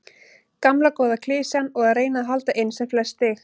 Gamla góða klisjan og að reyna að hala inn sem flest stig.